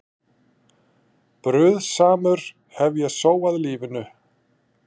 Bruðlsamur hef ég sóað lífinu.